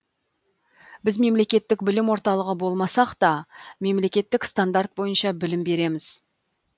біз мемлекеттік білім орталығы болмасақ та мемлекеттік стандарт бойынша білім береміз